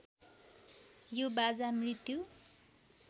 यो बाजा मृत्यु